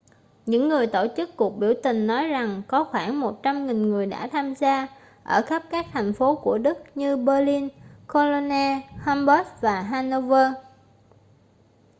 những người tổ chức cuộc biểu tình nói rằng có khoảng 100.000 người đã tham gia ở khắp các thành phố của đức như berlin cologne hamburg và hanover